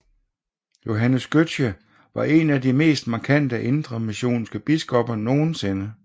Johannes Gøtzsche var en af de mest markante indremissionske biskopper nogensinde